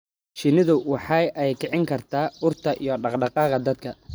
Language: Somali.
Shinnidu waxa ay kicin kartaa urta iyo dhaqdhaqaaqa dadka.